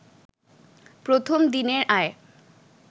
প্রথম দিনের আয়